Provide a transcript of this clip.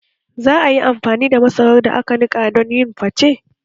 Za a yi amfani da masarar da aka nika don yin fate